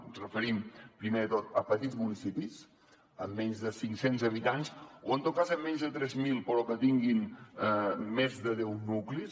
ens referim primer de tot a petits municipis amb menys de cinc cents habitants o en tot cas amb menys de tres mil però que tinguin més de deu nuclis